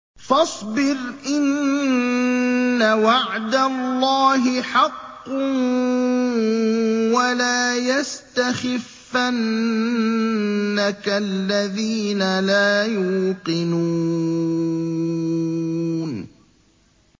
فَاصْبِرْ إِنَّ وَعْدَ اللَّهِ حَقٌّ ۖ وَلَا يَسْتَخِفَّنَّكَ الَّذِينَ لَا يُوقِنُونَ